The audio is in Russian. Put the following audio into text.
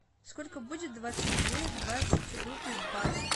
сколько будет двадцать две двадцать рупий в баксах